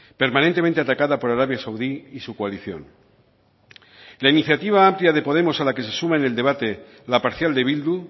permanentemente atacada por arabia saudí y su coalición la iniciativa amplia de podemos a la que se suma en el debate la parcial de bildu